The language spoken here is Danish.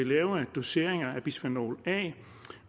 lavere doseringer af bisfenol